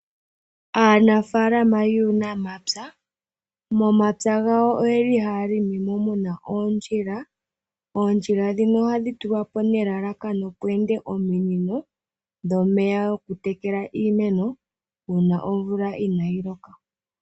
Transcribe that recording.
Aanafalama yuunamapya momapya gawo oye li haya limimo muna oondjila. Oondjila dhino ohadhi tulwa po nelalakano pweende ominino dhomeya go ku tekela iimeno uuna omvula inayi loka.